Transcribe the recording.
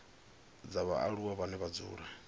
dza vhaaluwa vhane vha dzula